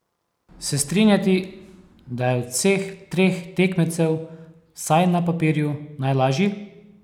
Se strinjati, da je od vseh treh tekmecev, vsaj na papirju, najlažji?